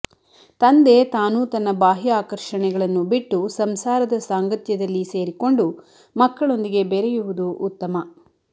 ತಂದೆ ತಾನೂ ತನ್ನ ಬಾಹ್ಯ ಆಕರ್ಷಣೆಗಳನ್ನು ಬಿಟ್ಟು ಸಂಸಾರದ ಸಾಂಗತ್ಯದಲ್ಲಿ ಸೇರಿಕೊಂಡು ಮಕ್ಕಳೊಂದಿಗೆ ಬೆರೆಯುವುದು ಉತ್ತಮ